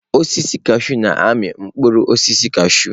Osisi kashụụ na-amị mkpụrụ osisi kashụụ